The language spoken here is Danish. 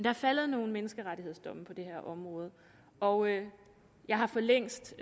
er faldet nogle menneskerettigsdomme på det her område og jeg har for længst